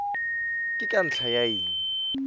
ke ka ntlha ya eng